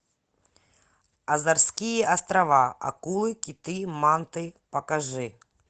азорские острова акулы киты манты покажи